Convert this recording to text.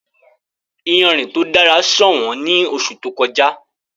Ìyánrín ti o dara ṣọwọn ní oṣù tó kọ̀jà.